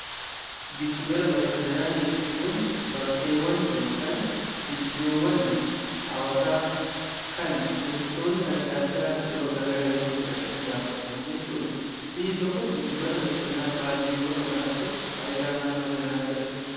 Gidduu gala bashannanaa jechuun bakkeewwan yookiin iddoowwan hawwataa kan turistootni adda addaa yeroodhaa gara yerootti dhaqanii daawwatan jechuudha. Biyyi tokko giddu gala bashannanaa baay'ee yoo qabaatte faayidaa maal maalii irraa argatti?